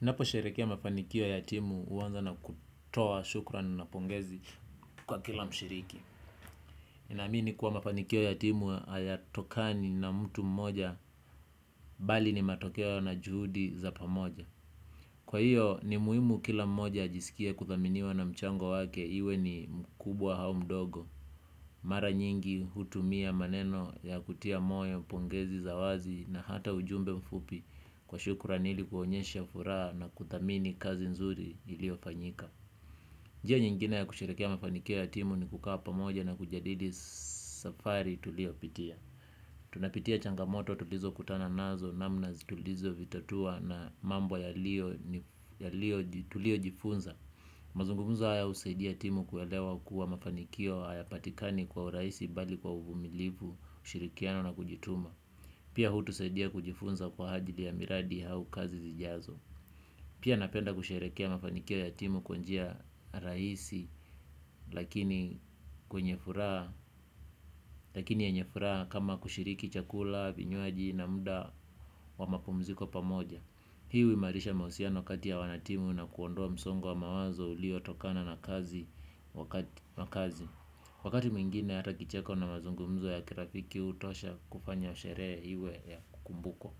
Ninapo sherehekea mafanikio ya timu huanza na kutoa shukran na pongezi kwa kila mshiriki. Nina amini kuwa mafanikio ya timu hayatokani na mtu mmoja bali ni matokeo na juhudi za pamoja. Kwa hiyo ni muhimu kila mmoja ajisikie kuthaminiwa na mchango wake iwe ni mkubwa au mdogo. Mara nyingi hutumia maneno ya kutia moyo pongezi za wazi na hata ujumbe mfupi kwa shukran ili kuonyesha furaha na kuthamini kazi nzuri iliyo fanyika. Njia nyingine ya kusherehekea mafanikio ya timu ni kukaa pamoja na kujadili safari tuliyo pitia. Tunapitia changamoto tulizo kutana nazo namna tulizo vitatua na mambo yaliyo tuliyo jifunza. Mazungumzo haya husaidia timu kuelewa kuwa mafanikio haya patikani kwa urahisi bali kwa uvumilivu ushirikiano na kujituma. Pia hutusaidia kujifunza kwa ajili ya miradi au kazi zijazo. Pia napenda kusherehekea mafanikio ya timu kwa njia rahisi lakini yenye furaha kama kushiriki chakula, vinywaji na muda wa mapumziko pamoja. Hii huimarisha mahusiana kati ya wanatimu na kuondoa msongo wa mawazo uliotokana na kazi. Wakati mwingine hata kicheko na mazungumzo ya kirafiki hutosha kufanya sherea iwe ya kumbukumbu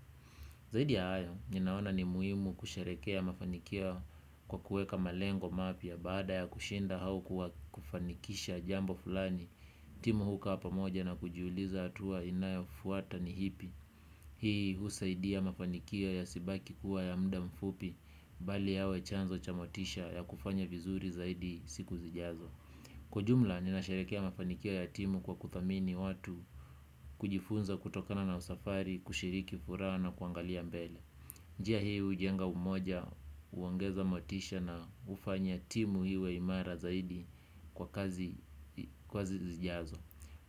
zaidi ya hayo, ninaona ni muhimu kusherehekea mafanikio kwa kuweka malengo mapya. Baada ya kushinda au kufanikisha jambo fulani timu hukaa pamoja na kujiuliza hatua inayo fuata ni ipi. Hii husaidia mafanikio yasibaki kuwa ya muda mfupi. Bali yawe chanzo cha motisha ya kufanya vizuri zaidi siku zijazo. Kuwa ujumla nina sherehekea mafanikio ya timu kwa kuthamini watu kujifunza kutokana na usafari kushiriki furaha na kuangalia mbele. Njia hiu hujenga umoja huongeza motisha na kufanya timu iwe imara zaidi kwa kazi zijazo.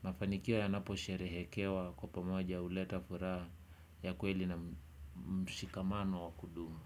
Mafanikik yanapo sherehekewa kwa pamoja huleta furaha ya kweli na mshikamano wa kudumu.